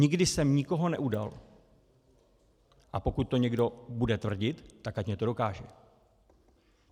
Nikdy jsem nikoho neudal, a pokud to někdo bude tvrdit, tak ať mně to dokáže.